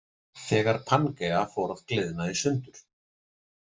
Þegar Pangea fór að gliðna í sundur.